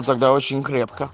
и тогда очень крепко